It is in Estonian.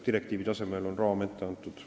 Direktiivi tasemel on raam ette antud.